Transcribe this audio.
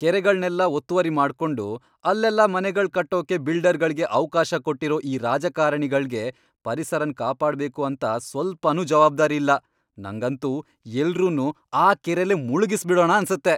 ಕೆರೆಗಳ್ನೆಲ್ಲ ಒತ್ತುವರಿ ಮಾಡ್ಕೊಂಡು ಅಲ್ಲೆಲ್ಲ ಮನೆಗಳ್ ಕಟ್ಟೋಕೆ ಬಿಲ್ಡರ್ಗಳ್ಗೆ ಅವ್ಕಾಶ ಕೊಟ್ಟಿರೋ ಈ ರಾಜಕಾರಣೆಗಳ್ಗೆ ಪರಿಸರನ್ ಕಾಪಾಡ್ಬೇಕು ಅಂತ ಸ್ವಲ್ಪನೂ ಜವಾಬ್ದಾರಿ ಇಲ್ಲ, ನಂಗಂತೂ ಎಲ್ರುನ್ನೂ ಆ ಕೆರೆಲೇ ಮುಳ್ಗಿಸ್ಬಿಡಣ ಅನ್ಸತ್ತೆ.